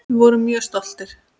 Við vorum mjög stoltir.